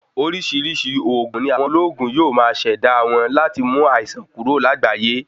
Orisirisii oògùn ní àwọn olóògùn yóò má ṣẹda wọn láti mú àìsàn kúrò lágbayé